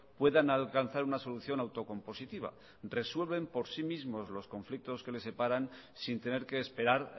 puedan alcanzar una solución autocompositiva resuelven por sí mismos los conflictos que le separan sin tener que esperar